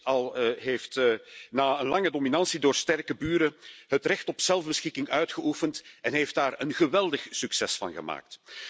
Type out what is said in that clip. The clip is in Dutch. heeft na een lange dominantie door sterke buren het recht op zelfbeschikking uitgeoefend en heeft daar een geweldig succes van gemaakt.